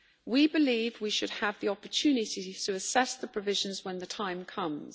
We believe we should have the opportunity to assess the provisions when the time comes.